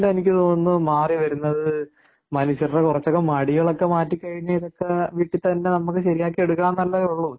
എനിക്ക് തോന്നുന്നു മാറിവരുന്നത് മനുഷ്യരുടെ കുറച്ചൊക്കെ മടികളൊക്കെ മാറ്റിക്കഴിഞ്ഞാൽ.ഇതൊക്കെവീട്ടിൽ തന്നെ നമുക്ക് ശരിയാക്കി എടുക്കാവുന്നതല്ലേ ഉള്ളൂ.